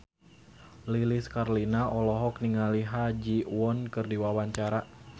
Lilis Karlina olohok ningali Ha Ji Won keur diwawancara